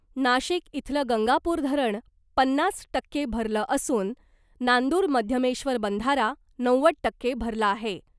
नाशिक इथलं गंगापूर धरण पन्नास टक्के भरलं असून नांदुर मध्यमेश्वर बंधारा नव्वद टक्के भरला आहे .